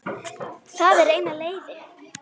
Það er eina leiðin.